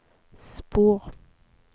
spor